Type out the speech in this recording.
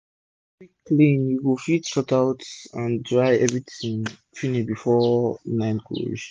if u quick clean u go fit sort out and dry everi tin finish before night go reach